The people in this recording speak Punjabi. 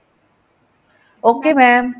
ok mam